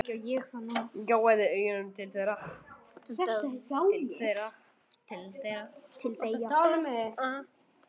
Gjóaði augunum til þeirra.